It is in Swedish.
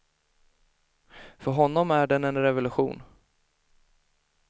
För honom är den en revolution.